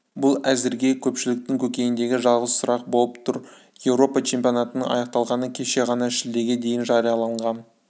бұл әзірге көпшіліктің көкейіндегі жалғыз сұрақ болып тұр еуропа чемпионатының аяқталғаны кеше ғана шілдеге дейін жарияланған